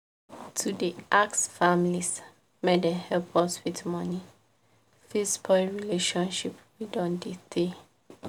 to dey ask families make dem help us with money fit spoil relationship wey don dey tey